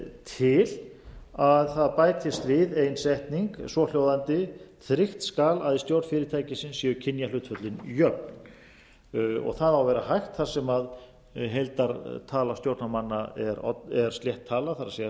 til að það bætist við ein setning svo hljóðandi tryggt skal að í stjórn fyrirtækisins séu kynjahlutföllin jöfn það á að vera hægt þar sem heildartala stjórnarmanna er slétt tala það